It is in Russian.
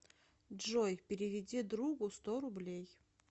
джой переведи другу сто рублей